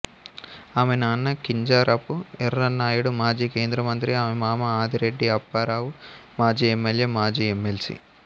ఆమె నాన్న కింజరాపు ఎర్రన్నాయుడు మాజీ కేంద్రమంత్రి ఆమె మామ ఆదిరెడ్డి అప్పారావు మాజీ ఎమ్మెల్యే మాజీ ఎమ్మెల్సీ